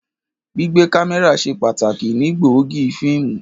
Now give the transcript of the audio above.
Gbigbe kamẹra ṣe pataki ni gbóògì fiimu.